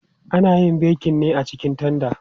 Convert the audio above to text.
Ana yin bekin ne a cikin tanda.